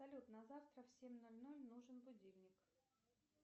салют на завтра в семь ноль ноль нужен будильник